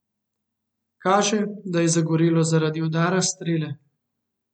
Kaže, da je zagorelo zaradi udara strele.